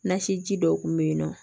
Nasi ji dɔw kun bɛ yen nɔ